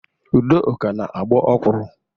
Udoka na-agbọ ọkwuru.